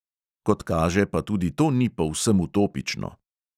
Kot kaže, pa tudi to ni povsem utopično.